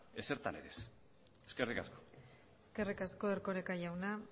ezertan ere ez eskerrik asko eskerrik asko erkoreka jauna